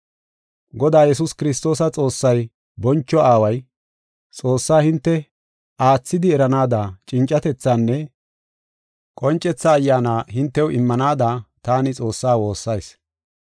Godaa Yesuus Kiristoosa Xoossay, boncho Aaway, Xoossaa hinte aathidi eranaada cincatethaanne qoncetha ayyaana hintew immanaada taani Xoossaa woossayis.